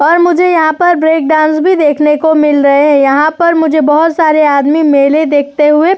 और मुझे यहाँ पर ब्रेक डांस भी देखने को मिल रहे हैं। यहाँ पर मुझे बहुत सारे आदमी मेले देखते हुए-